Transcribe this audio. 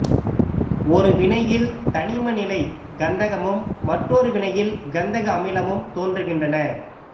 ஒரு வினையில் தனிம நிலை கந்தகமும் மற்றொரு வினையில் கந்தக அமிலமும் தோன்றுகின்றன